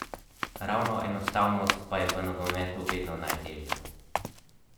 Poleg tega ni šlo za državne skrivnosti, ampak le za zasebne pogovore s predsednikom.